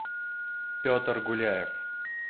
петр гуляев